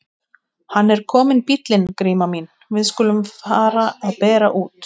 Hann er kominn bíllinn Gríma mín, við skulum fara að bera út.